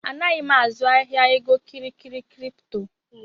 Anaghị m azụ ahịa egokịrịkịrị kripto